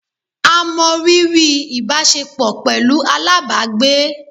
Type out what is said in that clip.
A mọ riri ìbáṣepọ̀ pẹlú alábàágbé